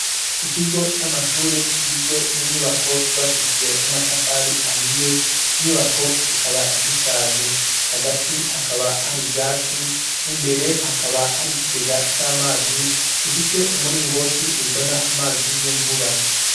Ikigo c' amashure kigizwe n'inyubako zubakishijwe n ' amatafari ahiye inyubako zikaba zishaje hagati hakaba hari ivyatsi imbere hakaba hari ikigega c ' amazi gifise umuringoti uzana amazi yimvura .